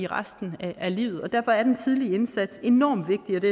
resten af livet derfor er den tidlige indsats enormt vigtig og det